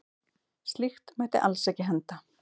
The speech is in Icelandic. Slíkt mætti alls ekki henda.